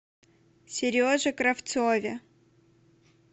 сереже кравцове